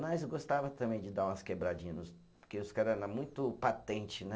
Mas eu gostava também de dar umas quebradinha nos, porque os cara era muito patente, né?